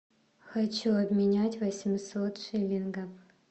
хочу обменять восемьсот шиллингов